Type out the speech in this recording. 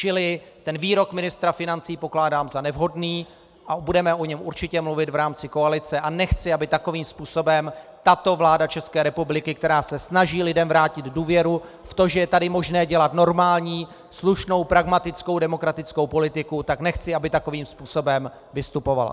Čili ten výrok ministra financí pokládám za nevhodný a budeme o něm určitě mluvit v rámci koalice a nechci, aby takovým způsobem tato vláda České republiky, která se snaží lidem vrátit důvěru, v to, že je tady možné dělat normální, slušnou, pragmatickou, demokratickou politiku, tak nechci, aby takovým způsobem vystupovala.